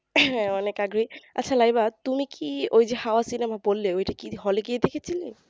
হ্যাঁ অনেক আগ্রহী আচ্ছা লাইবা তুমি কি ঐযে হাওয়া cinema বললে ঐটা কি hall এ গিয়ে দেখছিলে